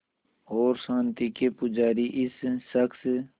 और शांति के पुजारी इस शख़्स